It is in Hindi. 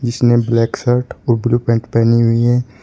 इसने ब्लैक शर्ट और ब्लू पैंट पहनी हुई है।